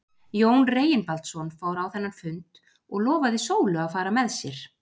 Jón Reginbaldsson fór á þennan fund og lofaði Sólu að fara með sér.